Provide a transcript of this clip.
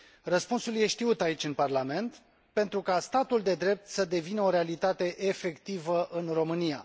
Răspunsul e știut aici, în Parlament pentru ca statul de drept să devină o realitate efectivă în România.